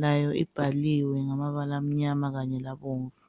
layo libhaliwe ngamabala amnyama kanye labomvu.